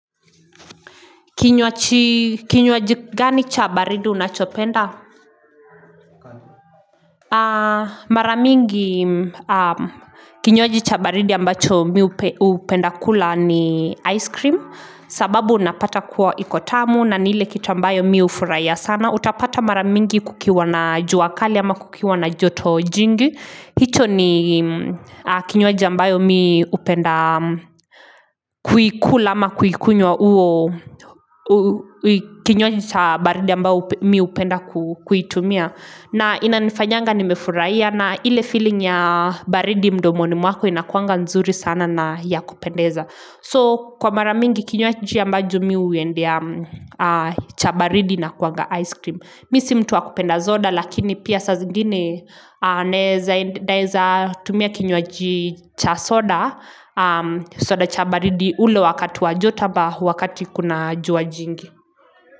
Kinywaji gani chabaridi unachopenda Maramingi kinywaji chabaridi ambacho mi upenda kula ni ice cream sababu unapata kuwa ikotamu na nile kitambayo mi ufuraya sana Utapata maramingi kukiwa na juakali ama kukiwa na joto jingi hicho ni kinywaji ambayo mi upenda kuikula ama kuikunywa uo kinywaji cha baridi ambayo mi upenda kuitumia na ina nifanyanga ni mefuraiya na ile feeling ya baridi mdomoni mwako inakuanga nzuri sana na ya kupendeza So kwa maramingi kinywaji ambayo mi uendea cha baridi na kuanga ice cream Misi mtuwa kupenda zoda lakini pia sa zingine ne zaidiza tumia kinywqji cha soda soda cha baridi ule wakati wajotaba wakati kuna jua jingi.